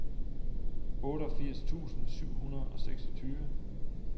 otteogfirs tusind syv hundrede og seksogtyve